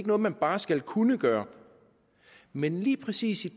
noget man bare skal kunne gøre men lige præcis i